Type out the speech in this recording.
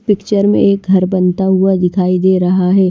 Picture में एक घर बनता हुआ दिखाई दे रहा है।